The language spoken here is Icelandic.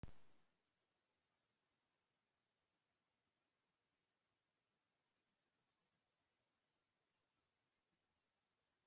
Merkið hennar kemur frá einum af frystigámunum hérna á bak við.